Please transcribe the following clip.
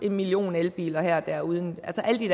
en million elbiler og her og der uden